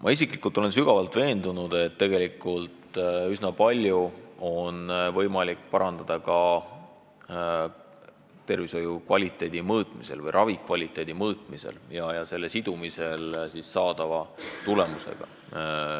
Ma isiklikult olen sügavalt veendunud, et tegelikult üsna palju on võimalik parandada ka tervishoiu kvaliteedi mõõtmise või ravikvaliteedi mõõtmisega ja selle sidumisega saadava tulemusega.